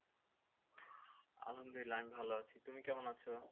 আলহামদুলিল্লাহ আমি ভালো আছি তুমি কেমন আছো